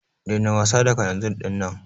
Daina wasa da kalanzir dinnan.